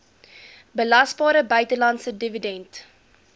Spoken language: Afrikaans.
belasbare buitelandse dividend